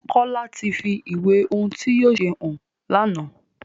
Kola tí fí ìwé ohùn tí yóò ṣe hàn lànà